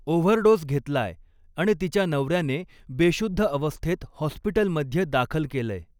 Overdose घेतलाय आणि तिच्या नवऱ्याने बेशुद्ध अवस्थेत हॉस्पिटलमध्ये दाखल केलयं.